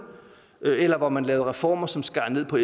eller hvor man lavede reformer som skar ned på